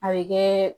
A bɛ kɛ